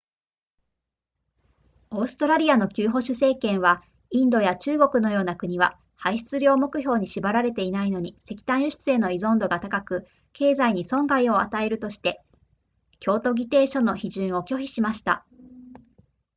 オーストラリアの旧保守政権はインドや中国のような国は排出量目標に縛られていないのに石炭輸出への依存度が高く経済に損害を与えるとして京都議定書の批准を拒否しました